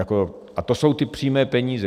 A to jsou ty přímé peníze.